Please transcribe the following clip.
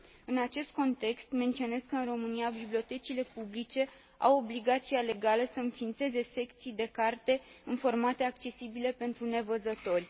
În acest context, menționez că, în România, bibliotecile publice au obligația legală să înființeze secții de carte în formate accesibile pentru nevăzători.